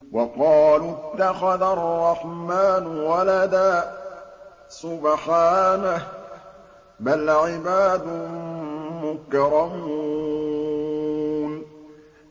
وَقَالُوا اتَّخَذَ الرَّحْمَٰنُ وَلَدًا ۗ سُبْحَانَهُ ۚ بَلْ عِبَادٌ مُّكْرَمُونَ